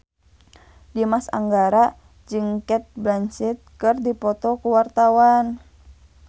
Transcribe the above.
Dimas Anggara jeung Cate Blanchett keur dipoto ku wartawan